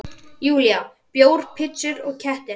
Júlía: Bjór, pitsur og kettir.